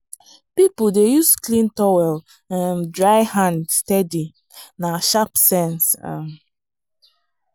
people dey use clean towel um dry hand steady na sharp sense. um